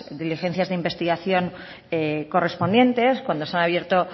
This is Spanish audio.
diligencias de investigación correspondientes cuando se han abierto